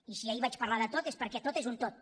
i si ahir vaig parlar de tot és perquè tot és un tot